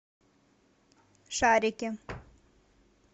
шарики